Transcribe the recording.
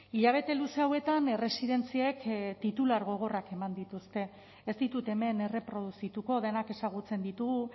hilabete luze hauetan erresidentziek titular gogorrak eman dituzte ez ditut hemen erreproduzituko denak ezagutzen ditugu